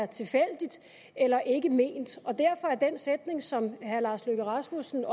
tilfældigt eller ikke ment og derfor er den sætning som herre lars løkke rasmussen